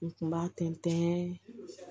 U kun b'a tɛntɛn